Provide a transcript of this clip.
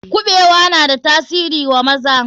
Kuɓewa na da tasiri wa maza.